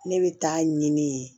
Ne bɛ taa ɲini yen